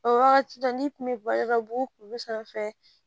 O wagati la n'i kun bɛ bɔ yɔrɔ dɔ la bogo kun bɛ sanfɛ